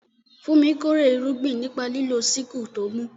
Funmi kórè irúgbìn nípa lílo sickle tó mú.